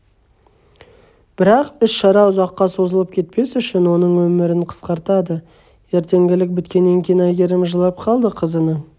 бірақ іс-шара ұзаққа созылып кетпес үшін оның нөмірін қысқартады ертеңгілік біткеннен кейін айгерім жылап қалды қызының